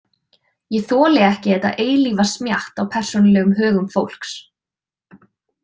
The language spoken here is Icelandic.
Ég þoli ekki þetta eilífa smjatt á persónulegum högum fólks.